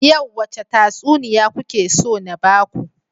Yau wace tatsuniya kuke so na baku?